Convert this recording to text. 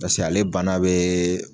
Paseke ale bana bɛ